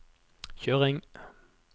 kjøring